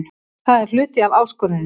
Það er hluti af áskoruninni.